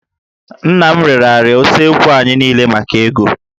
Nna m rere árịà usekwu anyị niile maka ego